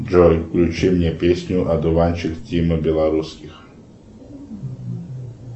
джой включи мне песню одуванчик тима белорусских